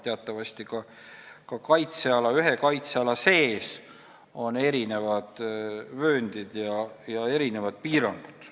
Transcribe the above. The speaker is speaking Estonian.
Teatavasti on ka ühe kaitseala sees erinevad vööndid ja piirangud.